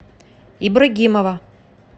ибрагимова